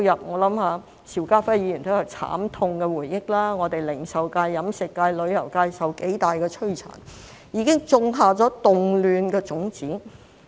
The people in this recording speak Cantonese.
我想邵家輝議員也有慘痛回憶，零售界、飲食界、旅遊界受到很大摧殘，已經種下了動亂的種子。